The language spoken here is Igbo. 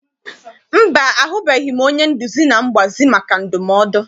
Mba, ahụbeghị m onye nduzi na mgbazi maka ndumodu.